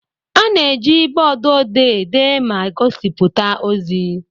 A na-eji bọọdụ odee dee ma gosipụta ozi.